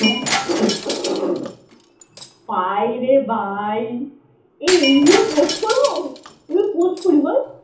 ভাইরে ভাই। এই এইগুলো post করবো? এগুলো post করি বল?